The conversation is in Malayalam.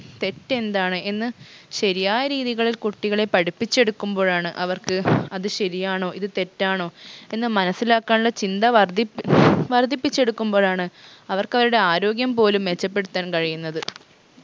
തെറ്റെന്താണ് എന്ന് ശരിയായ രീതികളിൽ കുട്ടികളെ പഠിപ്പിച്ചെടുക്കുമ്പോഴാണ് അവർക്ക് അത് ശരിയാണോ ഇത് തെറ്റാണോ എന്ന് മനസ്സിലാക്കാനുള്ള ചിന്ത വർദ്ധി വർദ്ധിപ്പിച്ചെടുക്കുമ്പോഴാണ് അവർക്ക് അവരുടെ ആരോഗ്യം പോലും മെച്ചപ്പെടുത്താൻ കഴിയുന്നത്